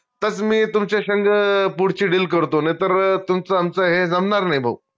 तरच मी तुमच्या संग पुढची deal करतो नाई तर तुमचं आमचं हे जमनार नाई भाऊ